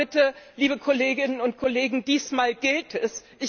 Also bitte, liebe Kolleginnen und Kollegen, diesmal gilt es.